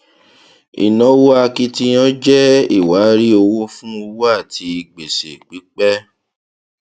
ìnáwó akitiyan jẹ iwari owó fún òwò àti gbèsè pípẹ